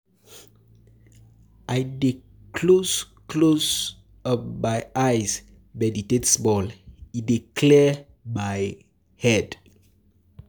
I dey close close um my eyes meditate small, e dey clear my um head.